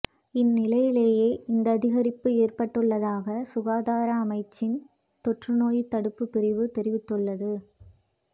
இந் நிலையிலேயே இந்த அதிகரிப்பு ஏற்பட்டுள்ளதாக சுகாதார அமைச்சின் தொற்று நோய் தடுப்புப் பிரிவு தெரிவித்துள்ளது